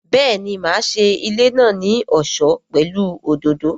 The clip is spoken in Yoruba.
Béèni, máa ṣe ilé náà ní ọ̀ṣọ́ pẹ̀lú òdòdó